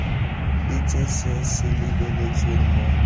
itse se se lebeletsweng mo